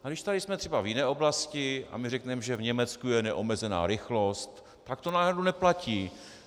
A když tady jsme třeba v jiné oblasti a my řekneme, že v Německu je neomezená rychlost, tak to najednou neplatí.